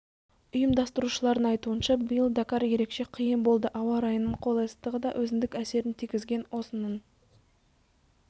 ұйымдастырушылардың айтуынша биыл дакар ерекше қиын болды ауа райының қолайсыздығы да өзіндік әсерін тигізген осының